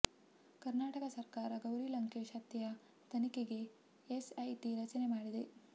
ಕರ್ನಾಟಕ ಸರ್ಕಾರ ಗೌರಿ ಲಂಕೇಶ್ ಹತ್ಯೆಯ ತನಿಖೆಗೆ ಎಸ್ಐಟಿ ರಚನೆ ಮಾಡಿದೆ